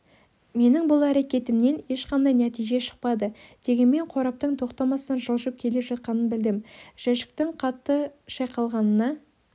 менің бұл әрекетімнен ешқандай нәтиже шықпады дегенмен қораптың тоқтамастан жылжып келе жатқанын білдім жәшіктің қатты шайқалғанына